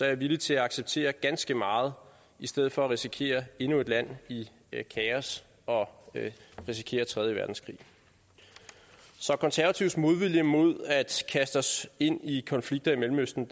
er villig til at acceptere ganske meget i stedet for at risikere endnu et land i kaos og risikere tredje verdenskrig så konservatives modvilje mod at kaste os ind i konflikter i mellemøsten